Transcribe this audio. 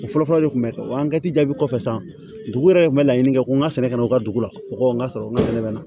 O fɔlɔfɔlɔ de kun bɛ kɛ o jaabi kɔfɛ san dugu yɛrɛ kun bɛ laɲini kɛ ko n ka sɛnɛ ka u ka dugu la mɔgɔw ka sɔrɔ n ka sɛnɛ na